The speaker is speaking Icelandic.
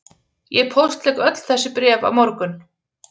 Ég póstlegg öll þessi bréf á morgun